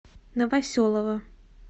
новоселова